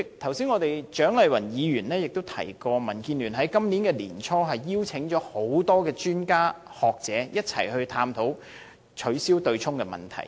主席，蔣麗芸議員剛才提到，民建聯在今年年初邀請了多位專家和學者一起探討取消對沖機制的問題。